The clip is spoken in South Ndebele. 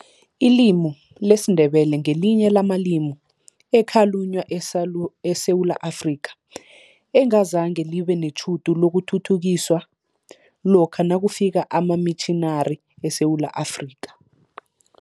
Ilimi lesiNdebele ngelinye lamalimi ekhalunywa eSewula Afrika, engazange libe netjhudu lokuthuthukiswa lokha nakufika amamitjhinari eSewula Afrika.